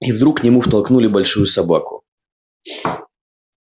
и вдруг к нему втолкнули большую собаку